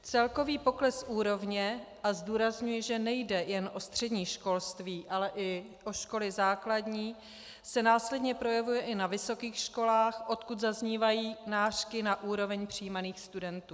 Celkový pokles úrovně - a zdůrazňuji, že nejde jen o střední školství, ale i o školy základní - se následně projevuje i na vysokých školách, odkud zaznívají nářky na úroveň přijímaných studentů.